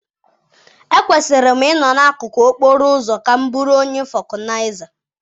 Ekwesịrị m ịnọ n'akụkụ okporo ụzọ ka m bụrụ onye vọkụnaiza?